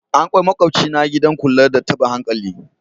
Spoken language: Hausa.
An kai makwabcina gidan kula da tabin hankali.